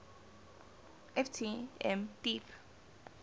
ft m deep